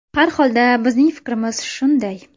Har holda bizning fikrimiz shunday.